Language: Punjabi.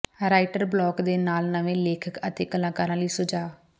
ਰਾਈਟਰ ਬਲਾਕ ਦੇ ਨਾਲ ਨਵੇਂ ਲੇਖਕ ਅਤੇ ਕਲਾਕਾਰਾਂ ਲਈ ਸੁਝਾਅ